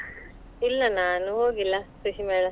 ಇಲ್ಲ ನಾನು ಹೋಗಿಲ್ಲ ಕೃಷಿ ಮೇಳ.